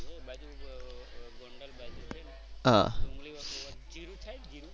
એ બાજુ ગોંડલ બાજુ હા જીરું થાય જીરું?